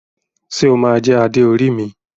Ṣe o ma jẹ Adé orí mi?